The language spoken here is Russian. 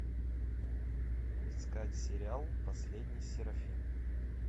искать сериал последний серафим